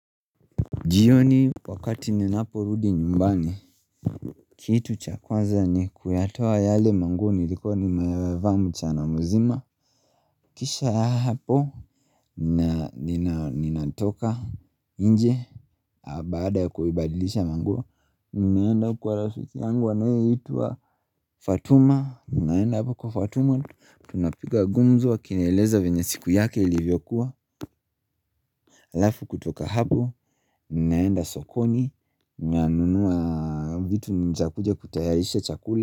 Jioni wakati ninaporudi nyumbani Kitu cha kwaza ni kuyatoa yale manguo nilikuwa nimevaa mchana mzima Kisha hapo ninatoka nje baada ya kubadilisha manguo ninaenda kwa rafiki yangu anayeitwa Fatuma, ninaenda hapo kwa Fatuma tunapika gumzo akinieleza venye siku yake ilivyokuwa Alafu kutoka hapo, ninaenda sokoni, ninanunua vitu vya kuja kutayarisha chakula.